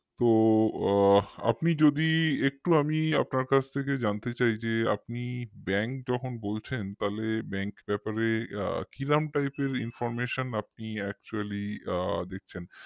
তো আ আপনি যদি একটু আমি আপনার কাছ থেকে জানতে চাইছি যে আপনি bank যখন বলছেন তালে bank ব্যাপারে কিরম type এর information আপনি actually দিচ্ছেন